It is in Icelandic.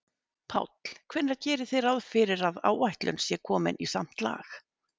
Páll: Hvenær gerið þið ráð fyrir að áætlun sé komin í samt lag?